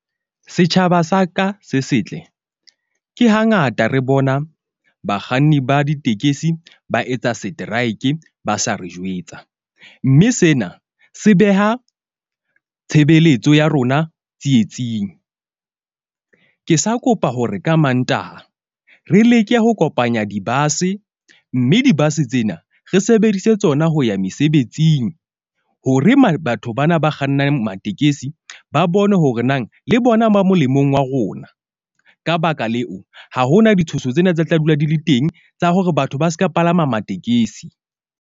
Setjhaba sa ka se setle ke hangata re bona bakganni ba ditekesi ba etsa seteraeke ba sa re jwetsa. Mme sena se beha tshebeletso ya rona tsietsing. Ke sa kopa hore ka Mantaha re leke ho kopanya di-bus-e. Mme di-bus-e tsena re sebedise tsona ho ya mesebetsing hore ma, batho bana ba kgannang matekesi ba bone hore nang le bona ba molemong wa rona. Ka baka leo, ha hona ditshoso tsena tse tla dula di le teng tsa hore batho ba seka palama matekesi.